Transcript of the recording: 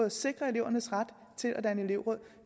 at sikre elevernes ret til at danne elevråd